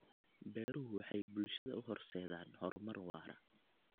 Beeruhu waxay bulshada u horseedaan horumar waara.